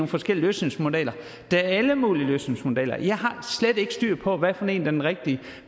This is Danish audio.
forskellige løsningsmodeller der er alle mulige løsningsmodeller jeg har slet ikke styr på hvilken en der er den rigtige